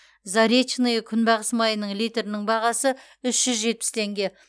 заречное күнбағыс майының литрінің бағасы үш жүз жетпіс теңге